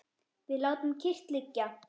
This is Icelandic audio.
Við látum kyrrt liggja